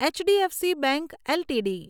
HDFC bank LTD